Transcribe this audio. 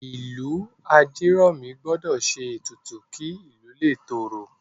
Ìlú Ajeromi gbọ́dọ̀ ṣe ètùtù kí ìlú lè tòrò